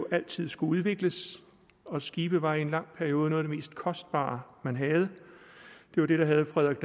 altid skulle udvikles og skibe var i en lang periode noget af det mest kostbare man havde det var det der havde frederik